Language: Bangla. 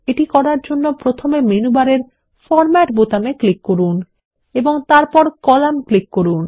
এটি করার জন্য প্রথমে মেনু বারের ফরম্যাট বোতামে ক্লিক করুন এবং তারপর কলাম ক্লিক করুন